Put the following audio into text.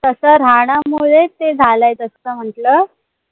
तस राहण्यामुळे ते झालाय तस म्हंटल